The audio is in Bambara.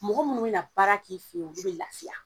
Mɔgɔ munnu bena baara k'i fe ye olu be lafiya.